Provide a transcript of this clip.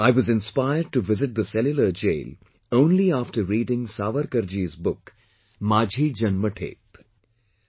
I was inspired to visit the Cellular Jail only after reading Savarkarji's book "Maazi Janmthep"